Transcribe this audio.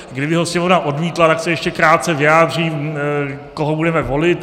Kdyby ho Sněmovna odmítla, tak se ještě krátce vyjádřím, koho budeme volit.